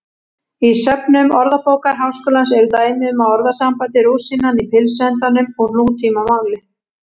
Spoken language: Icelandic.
Í söfnum Orðabókar Háskólans eru dæmi um orðasambandið rúsínan í pylsuendanum úr nútímamáli.